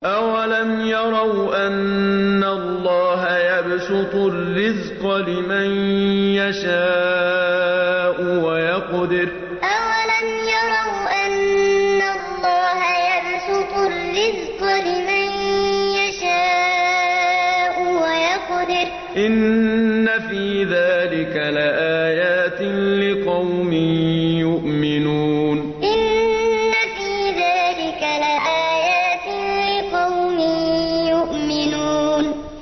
أَوَلَمْ يَرَوْا أَنَّ اللَّهَ يَبْسُطُ الرِّزْقَ لِمَن يَشَاءُ وَيَقْدِرُ ۚ إِنَّ فِي ذَٰلِكَ لَآيَاتٍ لِّقَوْمٍ يُؤْمِنُونَ أَوَلَمْ يَرَوْا أَنَّ اللَّهَ يَبْسُطُ الرِّزْقَ لِمَن يَشَاءُ وَيَقْدِرُ ۚ إِنَّ فِي ذَٰلِكَ لَآيَاتٍ لِّقَوْمٍ يُؤْمِنُونَ